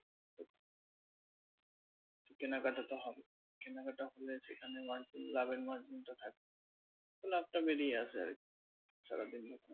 কেনাকাটা তো হবেই। কেনাকাটা হলে সেখানে margin লাভের margin তা থাকে। তো লাভটা বেরিয়ে আসে আরকি